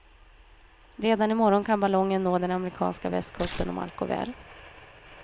Redan i morgon kan ballongen nå den amerikanska västkusten om allt går väl.